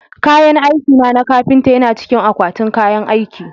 Kayan aikina na kafinta yana cikin akwatin kayan aiki